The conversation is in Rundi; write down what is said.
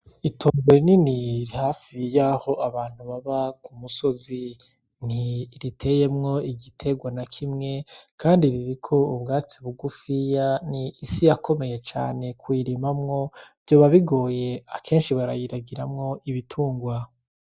Itongo rinini hafi yaho abantu baba ku musozi. Ntiriteyemwo igiterwa na kimwe kandi ririko ubwatsi bugufiya. Ni isi yakomeye cane, kuyirimamwo vyoba bigoye, akenshi barayiragiramwo ibitungwa.